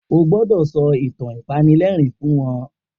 O gbọdọ sọ itan apanilẹrin fun wọn!